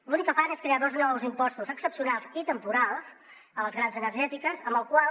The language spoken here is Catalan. l’únic que fan és crear dos nous impostos excepcionals i temporals a les grans energètiques amb el qual